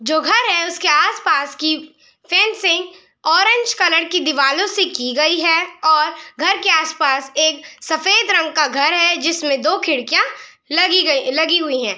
जो घर है उसके आस पास की फेंसिंग ऑरेंज कलर की दिवालों से की गयी है और घर के आस-पास एक सफ़ेद रंग का घर है जिसमें दो खिड़कियाँ लगी गयी लगी हुई हैं।